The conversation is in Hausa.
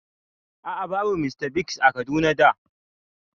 A'a, babu Mr Biggs a Kaduna da